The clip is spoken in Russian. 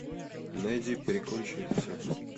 найди прикончи их всех